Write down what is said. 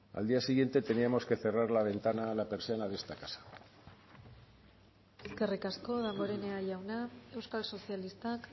al día siguiente teníamos que cerrar la ventana la persiana de esta casa eskerrik asko damborenea jauna euskal sozialistak